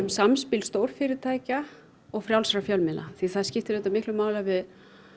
samspil stórfyrirtækja og frjálsra fjölmiðla því það skiptir auðvitað miklu máli að við